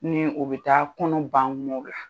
Ni o bɛ taa kɔnɔ ban kumaw la.